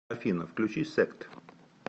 афина включи сект